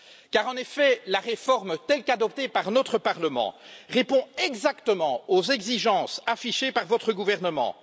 Car, en effet, la réforme, telle qu'adoptée par notre Parlement, répond exactement aux exigences affichées par votre gouvernement.